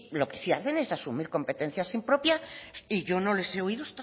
lo que sí hacen es asumir competencias impropias y yo no les he oído